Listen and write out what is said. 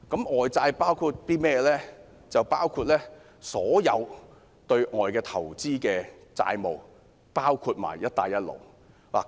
外債包括所有對外投資的債務，包括"一帶一路"。